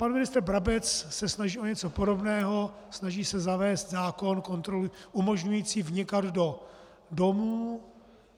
Pan ministr Brabec se snaží o něco podobného, snaží se zavést zákon umožňující vnikat do domů